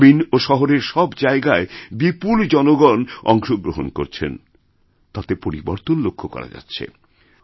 গ্রামীন ও শহরের সব জায়গায় বিপুল জনগণ অংশগ্রহণকরছেন তাতে পরিবর্তন লক্ষ্য করা যাচ্ছে